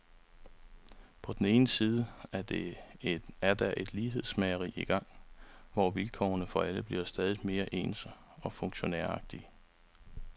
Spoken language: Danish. På den ene side er der et lighedsmageri i gang, hvor vilkårene for alle bliver stadig mere ens og funktionæragtige.